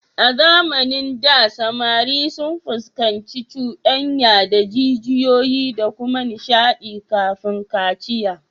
A zamanin da, samari sun fuskanci cuɗanya da jijiyoyi da kuma nishadi kafin kaciya